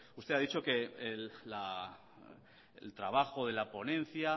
usted ha dicho que el trabajo de la ponencia